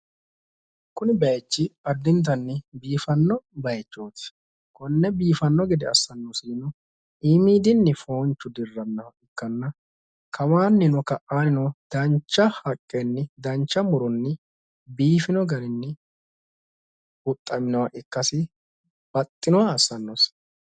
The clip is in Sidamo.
Kuni bayiichi addintanni biifanno bayichooti. Konne biifanno gede assanosihuno iimiidinni foonchu dirrannoha ikkanna kawaannino ka'aannino dancha haqqenni dancha muronni biifino garinni huxxaminoha ikkaasi baxxinoha assannosi.